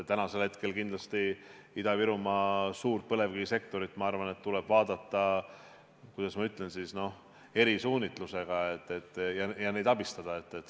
Täna kindlasti Ida-Virumaa suurt põlevkivisektorit, ma arvan, tuleb vaadata, kuidas ma ütlen, eri suunitlusega ja seda abistada.